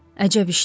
Əcəb işdir.